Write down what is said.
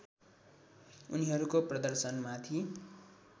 उनीहरूको प्रदर्शनमाथि